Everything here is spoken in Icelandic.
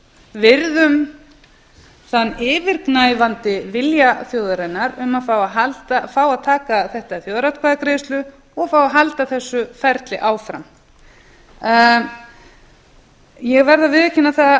við virðum þann yfirgnæfandi vilja þjóðarinnar um að fá að taka þetta í þjóðaratkvæðagreiðslu og fá að halda þessu ferli áfram ég verð að viðurkenna það